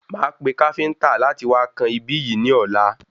Máa pe káfíntà láti wá kan ibí yìí ní ọ̀la